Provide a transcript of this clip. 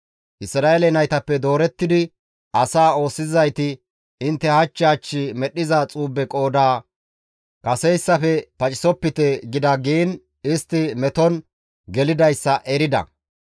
Isra7eele naytappe doorettidi asaa oosisizayti, «Intte hach hach medhdhiza xuube qooda kaseyssafe pacisopite» gida giin istti meton gelidayssa erida.